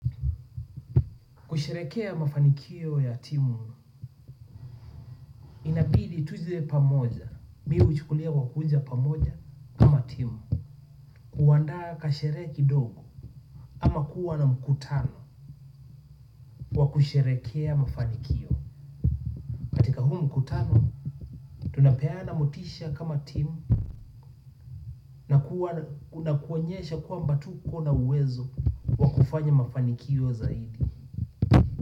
Kusherekea mafanikio ya timu. Inabidi tuje pamoja. Mimi huichukulia kwa kuja pamoja kama Timu. Kuandaa kasherehe kidogo ama kuwa na mkutano kwa kusherekea mafanikio katika huu mkutano tunapeana motisha kama timu na kuonyesha kwamba tuko na uwezo wa kufanya mafanikio zaidi.